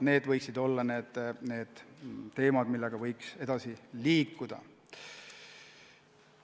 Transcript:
Need võiksid olla teemad, millega võiks edasi liikuda.